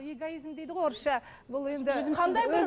эгоизм дейді ғой орысша бұл енді